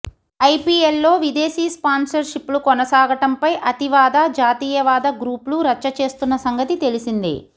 ఐపీఎల్లో విదేశీ స్పాన్సర్షిప్లు కొనసాగటంపై అతివాద జాతీయవాద గ్రూప్లు రచ్చ చేస్తున్న సంగతి తెలిసిందే